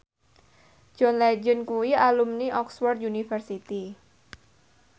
John Legend kuwi alumni Oxford university